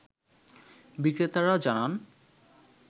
বিক্রেতারা জানান